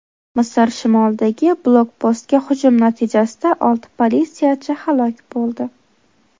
Misr shimolidagi blokpostga hujum natijasida olti politsiyachi halok bo‘ldi.